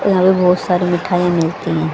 यहां पे बहोत सारी मिठाईया मिलती है।